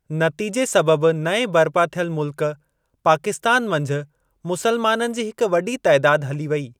नतीजे सबबि नएं बरिपा थियल मुल्क पाकिस्तान मंझि मुसलमाननि जी हिकु वॾी तइदादु वई हली।